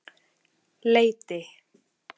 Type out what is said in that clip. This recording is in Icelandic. Leiti